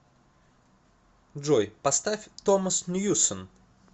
джой поставь томас ньюсон